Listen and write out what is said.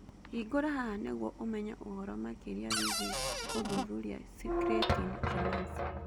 Hingũra haha nĩguo ũmenye ũhoro makĩria wĩgiĩ gũthuthuria creatine kinase.